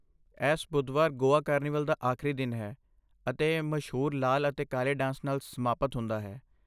ਐਸ਼ ਬੁੱਧਵਾਰ ਗੋਆ ਕਾਰਨੀਵਲ ਦਾ ਆਖਰੀ ਦਿਨ ਹੈ ਅਤੇ ਇਹ ਮਸ਼ਹੂਰ ਲਾਲ ਅਤੇ ਕਾਲੇ ਡਾਂਸ ਨਾਲ ਸਮਾਪਤ ਹੁੰਦਾ ਹੈ।